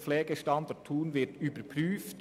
Der Standort Thun des BZ Pflege wird überprüft.